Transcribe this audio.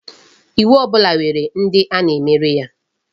Iwu ọbụla nwere ndi a na-emere ya.